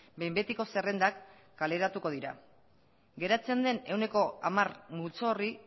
behin betiko zerrendak kaleratuko dira geratzen den ehuneko hamar multzo horri